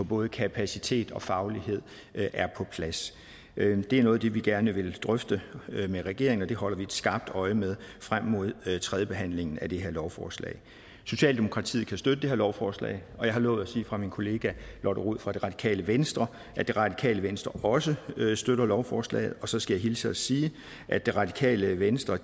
både kapacitet og faglighed er på plads det er noget af det vi gerne vil drøfte med regeringen og det holder vi et skarpt øje med frem mod tredjebehandlingen af det her lovforslag socialdemokratiet kan støtte det her lovforslag og jeg har lovet at sige fra min kollega lotte rod fra det radikale venstre at det radikale venstre også støtter lovforslaget så skal jeg hilse og sige at det radikale venstre